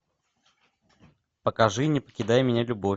покажи не покидай меня любовь